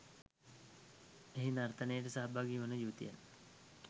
එහි නර්තනයට සහභාගි වන යුවතියන්